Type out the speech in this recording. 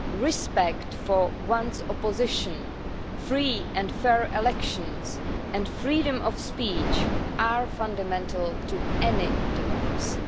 Respect for the opposition, free and fair elections and freedom of speech are fundamental to any democracy.